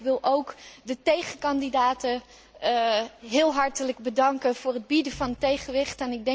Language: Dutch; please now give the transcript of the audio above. Toch wil ik ook de tegenkandidaten heel hartelijk bedanken voor het bieden van tegenwicht.